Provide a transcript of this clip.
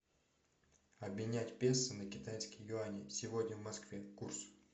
обменять песо на китайские юани сегодня в москве курс